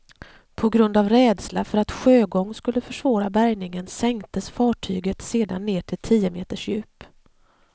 På grund av rädsla för att sjögång skulle försvåra bärgningen sänktes fartyget sedan ned till tio meters djup.